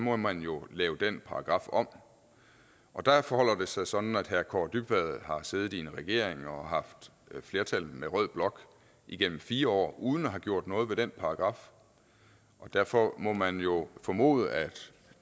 må man jo lave den paragraf om der forholder det sig sådan at herre kaare dybvad har siddet bag en regering og har haft flertal med rød blok igennem fire år uden at have gjort noget ved den paragraf derfor må man jo formode